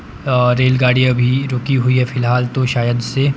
और रेलगाड़ी अभी रुकी हुई है फिलहाल तो शायद से।